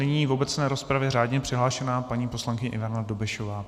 Nyní v obecné rozpravě řádně přihlášená paní poslankyně Ivana Dobešová.